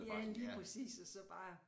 Ja lige præcis og så bare